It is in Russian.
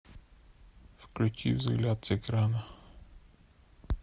включи взгляд с экрана